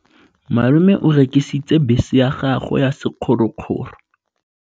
Malome o rekisitse bese ya gagwe ya sekgorokgoro.